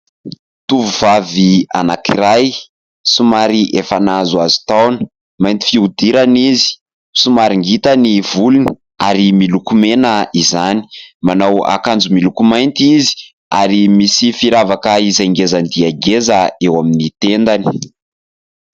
Tovovavy anankiray somary efa nahazoazo taona; mainty fiodirana izy, somary ngita ny volony ary miloko mena izany. Manao akanjo miloko mainty izy ary misy firavaka izay ngeza dia ngeza eo amin'ny tendany.